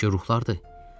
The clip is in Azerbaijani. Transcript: Bəlkə ruhlardır?